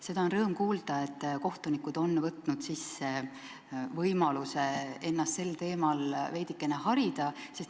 Seda on rõõm kuulda, et kohtunikud soovivad kasutada võimalust ennast sel teemal veidikene harida.